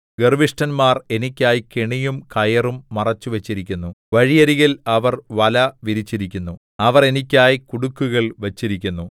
ഗർവ്വിഷ്ഠന്മാർ എനിക്കായി കെണിയും കയറും മറച്ചുവച്ചിരിക്കുന്നു വഴിയരികിൽ അവർ വല വിരിച്ചിരിക്കുന്നു അവർ എനിക്കായി കുടുക്കുകൾ വച്ചിരിക്കുന്നു സേലാ